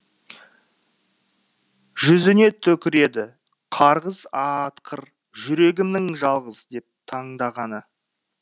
жүзіне түкіреді қарғыс атқыр жүрегімнің жалғыз деп таңдағаны